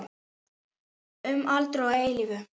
Um aldir og að eilífu.